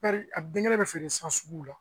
A denkɛ bɛ feere san sugu la